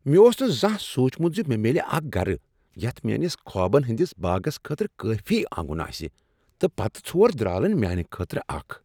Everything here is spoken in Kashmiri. مےٚ اوس نہٕ زانہہ سوچمت زِ مےٚ میلِہ اکھ گرٕ یتھ میٲنس خوابن ہٕندس باغس خٲطرٕ کٲفی آنگن آسِہ، تہٕ پتہٕ ژھور درالن میانِہ خٲطرٕ اکھ!